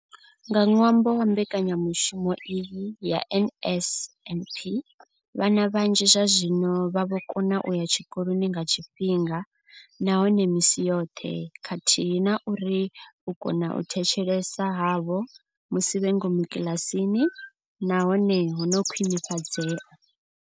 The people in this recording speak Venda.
Nga ṅwambo wa mbekanyamushumo iyi ya NSNP, vhana vhanzhi zwazwino vha vho kona u ya tshikoloni nga tshifhinga nahone misi yoṱhe khathihi na uri u kona u thetshelesa havho musi vhe ngomu kiḽasini na hone ho khwinifhadzea.